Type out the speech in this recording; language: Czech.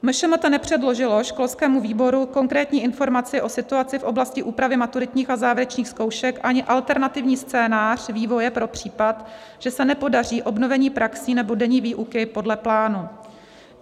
MŠMT nepředložilo školskému výboru konkrétní informaci o situaci v oblasti úpravy maturitních a závěrečných zkoušek ani alternativní scénář vývoje pro případ, že se nepodaří obnovení praxí nebo denní výuky podle plánu.